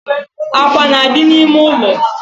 Akwa na-adị n’ime ụlọ